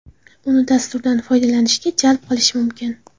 Uni dasturdan foydalanishga jalb qilish mumkin.